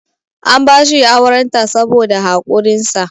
an bashi aurenta saboda haƙurinsa